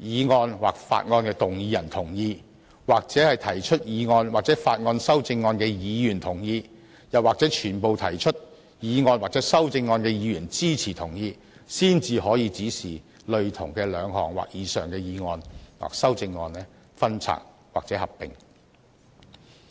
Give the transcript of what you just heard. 議案或法案動議人同意、或提出議案或法案修正案的議員同意，又或所有提出議案或修正案的議員支持同意，才可以指示類同的兩項或以上的議案或修正案予以分拆或合併。